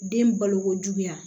Den balokojuguya